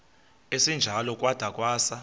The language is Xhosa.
esinjalo kwada kwasa